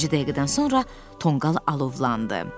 Bir neçə dəqiqədən sonra tonqal alovlandı.